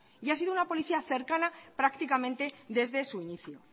y ha sido una policía cercana prácticamente desde su inicio